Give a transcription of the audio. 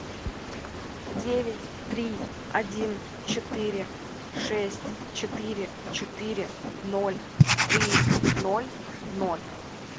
девять три один четыре шесть четыре четыре ноль три ноль ноль